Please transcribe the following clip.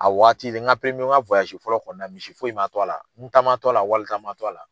A waati n ka n ka fɔlɔ kɔni na misi foyi man to a la n ta man to a la wali ta man to a la.